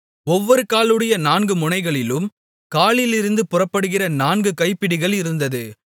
ஒவ்வொரு காலுடைய நான்கு முனைகளிலும் காலிலிருந்து புறப்படுகிற நான்கு கைப்பிடிகள் இருந்தது